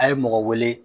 A' ye mɔgɔ wele